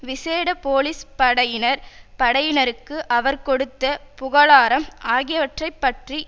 விசேட போலிஸ் படையினர் படையினருக்கு அவர் கொடுத்த புகழாரம் ஆகியவற்றைப்பற்றி